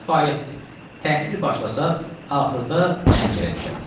Təhsil başlasaq axırda cəncərə düşərik.